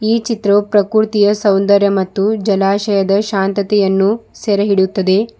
ಈ ಚಿತ್ರವು ಪ್ರಕೃತಿಯ ಸೌಂದರ್ಯ ಮತ್ತು ಜಲಾಶಯದ ಶಾಂತತೆಯನ್ನು ಸೆರೆಯಿಡಿಯುತ್ತದೆ.